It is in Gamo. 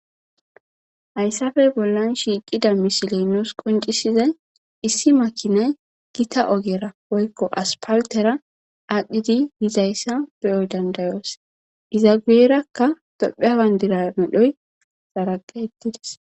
Hayissappe bollani shiqiza misileyi nussi qoncisizayi issi makinayi gitta oggera woyikko assipalitera adhidi bizayissa be'o danida'osi. Iza guyerakka tophphiya banidira medhoyi kaqeti utisi.